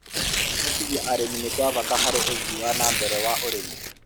kũhotithia arĩmi nĩ gwa bata harĩ ũthii wa na mbere wa ũrĩmi